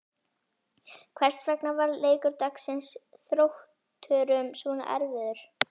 Hvers vegna varð leikur dagsins Þrótturum svo erfiður?